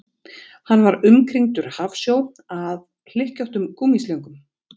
Hann var umkringdur hafsjó af hlykkjóttum gúmmíslöngum